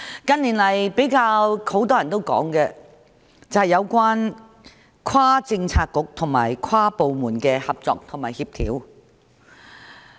近年比較多人討論的，是有關跨政策局和跨部門的合作及協調。